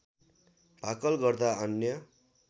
भाकल गर्दा अन्य